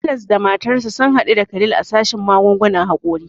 Anas da matarsa sun hadu da Khalil a sashen magungunan hakori.